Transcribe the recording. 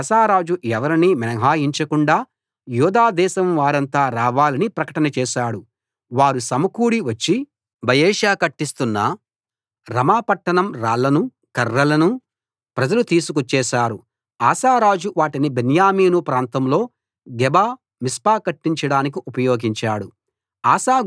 అప్పుడు ఆసా రాజు ఎవరినీ మినహాయించకుండా యూదా దేశం వారంతా రావాలని ప్రకటన చేశాడు వారు సమకూడి వచ్చి బయెషా కట్టిస్తున్న రమా పట్టణం రాళ్లనూ కర్రలనూ ప్రజలు తీసుకొచ్చేశారు ఆసా రాజు వాటిని బెన్యామీను ప్రాంతంలో గెబ మిస్పా కట్టించడానికి ఉపయోగించాడు